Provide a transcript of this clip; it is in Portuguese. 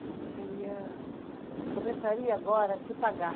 Acho que teria, começaria agora a se pagar.